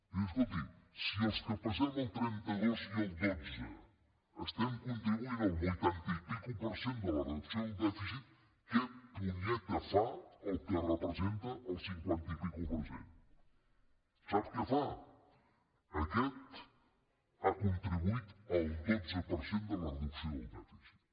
i dius escolti si els que pesem el trenta dos i el dotze estem contribuint el vuitanta i escaig per cent de la reducció del dèficit què punyeta fa el que representa el cinquanta i escaig per cent sap què fa aquest ha contribuït el dotze per cent en la reducció del dèficit